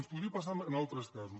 ens podria passar en altres casos